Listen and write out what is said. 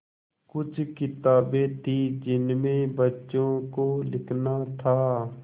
कुछ किताबें थीं जिनमें बच्चों को लिखना था